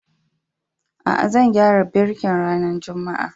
Aa, zan gyara birkin ranan Juma'a.